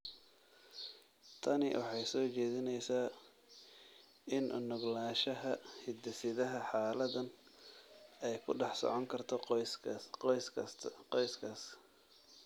Tani waxay soo jeedinaysaa in u nuglaanshaha hidde-sidaha xaaladahan ay ku dhex socon karto qoysaska.